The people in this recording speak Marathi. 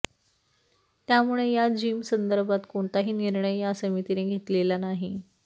त्यामुळे या जिमसंदर्भात कोणताही निर्णय या समितीने घेतलेला नाही